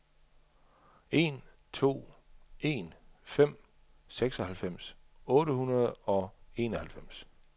en to en fem seksoghalvfems otte hundrede og enoghalvfems